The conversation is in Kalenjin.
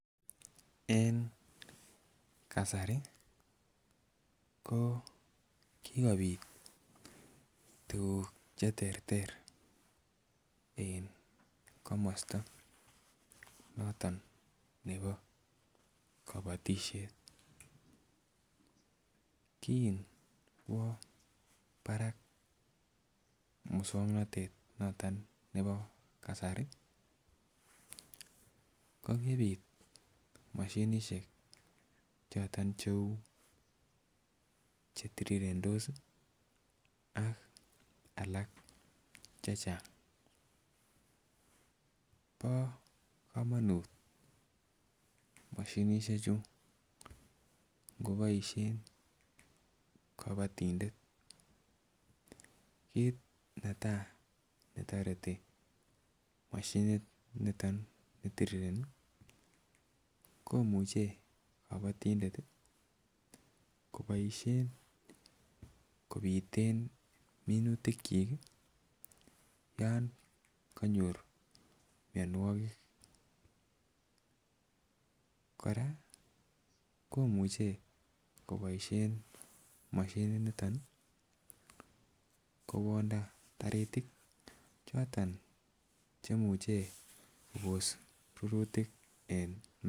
En kasari ko kikopit tukuk cheterter en komosto noton nebo kobotishet kin kwo barak muswoknotet noton nebo kasari ko kipit moshinishek choton chetirirendos ak alak chechang. Bo komonut moshinishek chuu ngoboishen kobotindet kit netai netoreti moshinit niton nitirireni komuche kobotindet tii koboishen kopiten minutik chik kii yon konyor mionwokik. Koraa komuche koboishen moshinit niton nii kowonda taritik choton chemuche Kobos rurutik en.